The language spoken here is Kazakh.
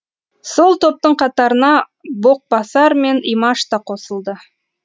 сол топтың қатарына боқбасар мен имаш та қосылды